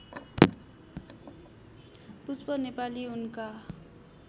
पुष्प नेपाली उनका